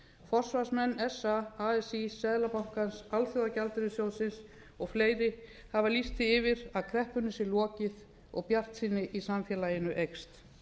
forsvarsmenn sa as seðlabankans alþjóðagjaldeyrissjóðsins og fleiri hafa lýst því yfir að kreppunni sé lokið og bjartsýni í samfélaginu eykst